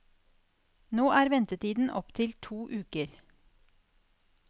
Nå er ventetiden opp til to uker.